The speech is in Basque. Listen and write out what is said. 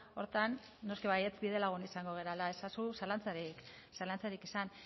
horretan noski baietz bide lagun izango garela ezazu zalantzarik izan